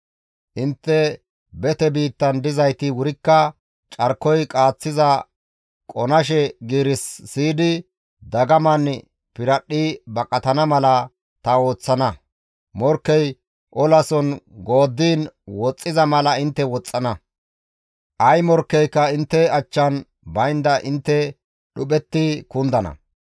« ‹Intte bete biittan dizayti wurikka carkoy qaaththiza qonashe giiris siyidi dagaman piradhdhi baqatana mala ta ooththana; morkkey olason gooddiin woxxiza mala intte woxxana; ay morkkeyka intte achchan baynda intte dhuphetti kundana.